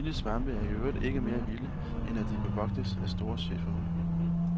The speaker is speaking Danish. De vilde svampe er i øvrigt ikke mere vilde, end at de bevogtes af store schæferhunde.